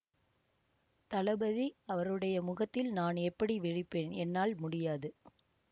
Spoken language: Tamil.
தளபதி அவருடைய முகத்தில் நான் எப்படி விழிப்பேன் என்னால் முடியாது